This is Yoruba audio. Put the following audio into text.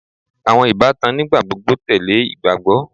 awọn ibatan nigbagbogbo tẹle igbagbọ